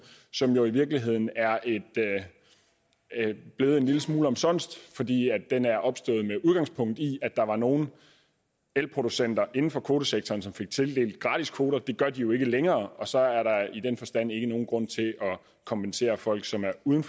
som jo i virkeligheden er blevet en lille smule omsonst fordi den er opstået med udgangspunkt i at der var nogle elproducenter inden for kvotesektoren som fik tildelt gratis kvoter det gør de jo ikke længere og så er der i den forstand ikke nogen grund til at kompensere folk som er uden